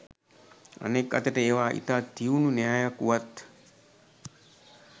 අනෙක් අතට ඒවා ඉතා තියුණු න්‍යායක් වුවත්